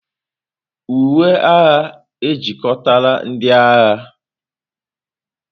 Uwe agha ejikọtala ndị agha.